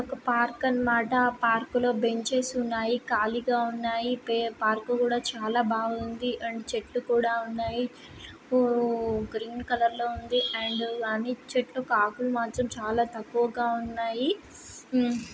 ఒక పార్క్ అన మాట ఆ పార్క్ లో బెంచెస్ ఉన్నాయి ఖాళీగా ఉంది ఆ పార్క్ కూడా చాలాబాగుంది అండ్ చెట్లు కూడా ఉన్నాయి ఊ గ్రీన్ కలర్ లో ఉంది అండ్ అన్ని చెట్లు ఆకులూ మాత్రం చాలా తక్కువగా ఉన్నాయి ఊ--